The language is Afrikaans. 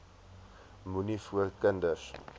moenie voor kinders